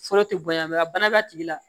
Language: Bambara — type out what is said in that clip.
Foro tɛ bonya mɛ a bana b'a tigi la